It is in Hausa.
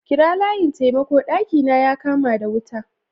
Kira layin taimako! daki na ya kama wuta.